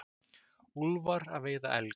Úlfar að veiða elg.